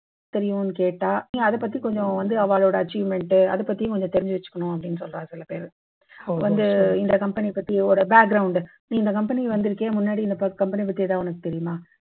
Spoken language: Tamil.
தெரியும்ன்னு கேட்டா நீ அதை பத்தி கொஞ்சம் வந்து அவாளோட achievement அதை பத்தியும் கொஞ்சம் தெரிஞ்சு வச்சுக்கணும் அப்படின்னு சொல்றா சில பேர் வந்து இந்த company பத்தி ஒரு background நீ இந்த company வந்திருக்கியே முன்னாடி இந்த ப company பத்தி ஏதாவது உனக்கு தெரியுமா